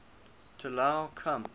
t allow come